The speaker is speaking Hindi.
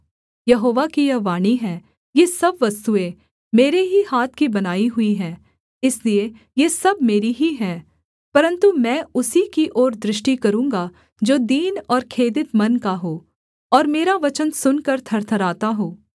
यहोवा की यह वाणी है ये सब वस्तुएँ मेरे ही हाथ की बनाई हुई हैं इसलिए ये सब मेरी ही हैं परन्तु मैं उसी की ओर दृष्टि करूँगा जो दीन और खेदित मन का हो और मेरा वचन सुनकर थरथराता हो